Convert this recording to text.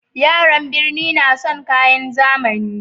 Yaran burni na son kayan zamani